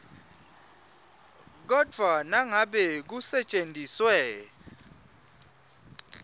kodvwa nangabe kusetjentiswe